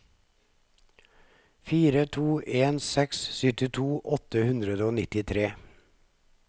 fire to en seks syttito åtte hundre og nittitre